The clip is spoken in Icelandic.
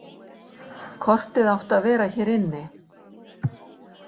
Kortið átti að vera hér inni.